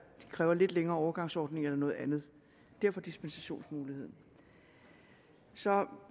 kræver lidt længere overgangsordninger eller noget andet derfor dispensationsmuligheden så